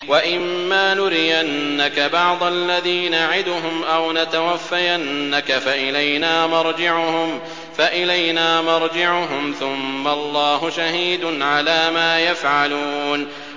وَإِمَّا نُرِيَنَّكَ بَعْضَ الَّذِي نَعِدُهُمْ أَوْ نَتَوَفَّيَنَّكَ فَإِلَيْنَا مَرْجِعُهُمْ ثُمَّ اللَّهُ شَهِيدٌ عَلَىٰ مَا يَفْعَلُونَ